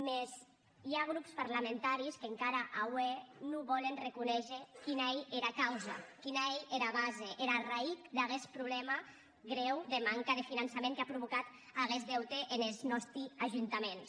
mès i a grops parlamentaris qu’encara aué non volen arreconéisher quina ei era causa quina ei era base era arraïtz d’aguest problèma greu de manca de finançament qu’a provocat aguest deute enes nòsti ajuntaments